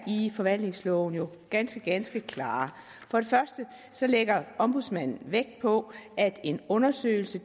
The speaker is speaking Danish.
i forvaltningsloven jo ganske ganske klare for det første lægger ombudsmanden vægt på at en undersøgelse